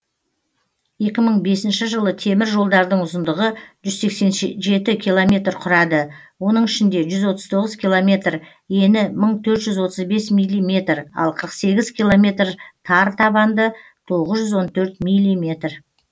екі мың бесінші жылы темір жолдардың ұзындығы жүз сексен жеті километр құрады оның ішінде жүз отыз тоғыз километр ені мың төрт жүз отыз бес миллиметр ал қырық сегіз километр тар табанды тоғыз жүз он төрт миллиметр